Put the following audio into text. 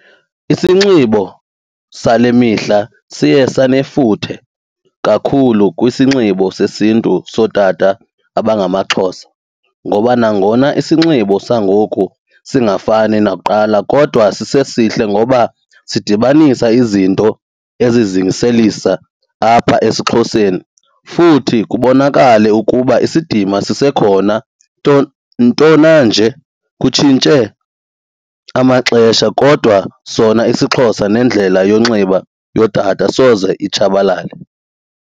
Isinxibo sale mihla siye sanefuthe kakhulu kwisinxibo sesiNtu sootata abangamaXhosa ngoba nangona isinxibo sangoku singafani nakuqala kodwa sisesihle ngoba sidibanisa izinto ezizingiselisa apha esiXhoseni futhi kubonakale ukuba isidima sisekhona. Nto ntona nje kutshintshe amaxesha kodwa sona isiXhosa nendlela yonxiba yootata soze itshabalale.